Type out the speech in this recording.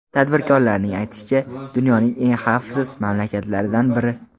Tadbirkorlarning aytishicha, dunyoning eng xavfsiz mamlakatlaridan biri.